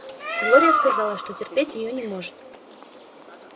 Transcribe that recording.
глория сказала что терпеть её не может